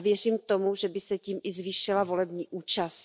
A věřím tomu, že by se tím i zvýšila volební účast.